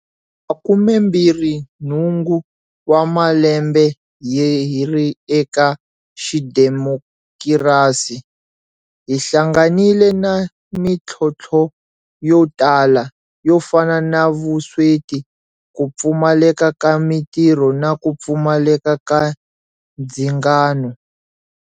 Makumembirhinhungu wa malembe hi ri eka xidemokirasi, hi hlanganile na mitlhontlho yo tala, yo fana na vusweti, ku pfumaleka ka mitirho na ku pfumaleka ka ndzingano.